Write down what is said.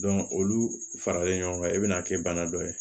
olu faralen ɲɔgɔn kan i bɛ na kɛ bana dɔ ye